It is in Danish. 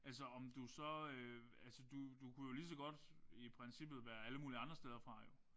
Altså om du så øh altså du du kunne jo lige så godt i princippet være alle mulige andre steder fra jo